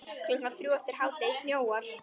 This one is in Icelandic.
Klukkan þrjú eftir hádegi snjóar.